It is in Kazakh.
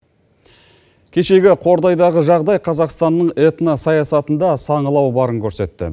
кешегі қордайдағы жағдай қазақстанның этносаясатында саңылау барын көрсетті